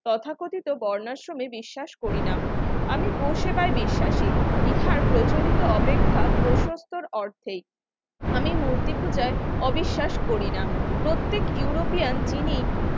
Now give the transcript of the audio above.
তথাকথিত বর্ণাশ্রমে বিশ্বাস করি না আমি বসেবাই বিশ্বাসী ইহার প্রচলিত অপেক্ষা প্রসস্তর অর্ধেক আমি মূর্তি পূজায় অবিশ্বাস করি না প্রত্যেক ইউরোপিয়ান যিনি